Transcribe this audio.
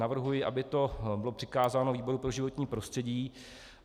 Navrhuji, aby to bylo přikázáno výboru pro životní prostředí.